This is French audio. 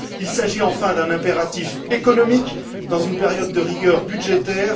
Il s'agit, enfin, d'un impératif économique dans une période de rigueur budgétaire.